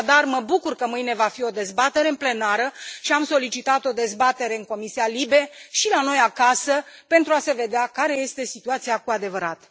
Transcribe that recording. Așadar, mă bucur că mâine va fi o dezbatere plenară și am solicitat o dezbatere în Comisia LIBE și la noi acasă pentru a se vedea care este situația cu adevărat.